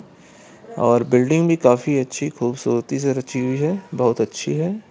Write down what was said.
और बिल्डिंग भी काफी अच्छी खूबसूरती से रची हुई है बहुत अच्छी है।